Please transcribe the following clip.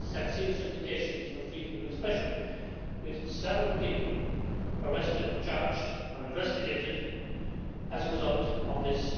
This has had serious implications for freedom of expression, with several people arrested, charged or investigated as a result of this.